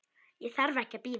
Ég þarf ekki að bíða.